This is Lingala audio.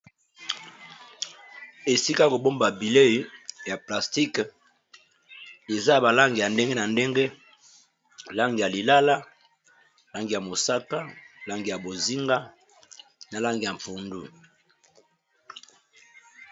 esika kobomba bilei ya plastique eza balange ya ndenge na ndenge lange ya lilala langi ya mosaka langi ya bozinga na lange ya mpundu